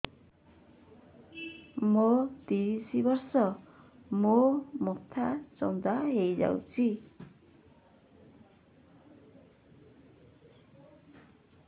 ମୋ ତିରିଶ ବର୍ଷ ମୋ ମୋଥା ଚାନ୍ଦା ହଇଯାଇଛି